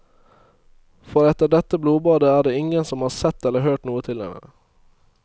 For etter dette blodbadet er det ingen som har sett eller hørt noe til henne.